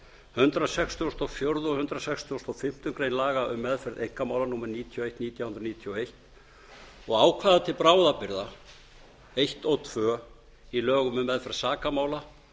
hundrað sextugasta og fjórða og hundrað sextugasta og fimmtu grein laga um meðferð einkamála númer níutíu og eitt nítján hundruð níutíu og eins og ákvæða til bráðabirgða eins og tvö í lögum um meðferð sakamála